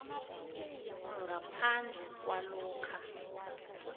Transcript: ngaphandle kwalokha